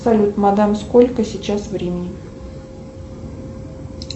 салют мадам сколько сейчас времени